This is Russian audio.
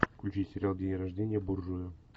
включи сериал день рождения буржуя